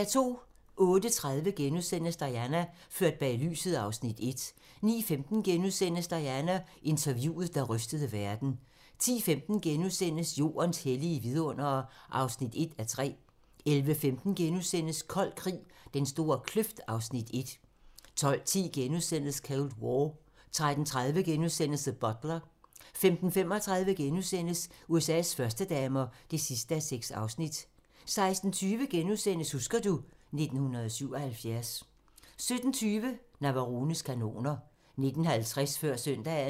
08:30: Diana - ført bag lyset (Afs. 1)* 09:15: Diana: Interviewet, der rystede verden * 10:15: Jordens hellige vidundere (1:3)* 11:15: Kold krig - Den store kløft (Afs. 1)* 12:10: Cold War * 13:30: The Butler * 15:35: USA's førstedamer (6:6)* 16:20: Husker du ... 1977 * 17:20: Navarones kanoner 19:50: Før søndagen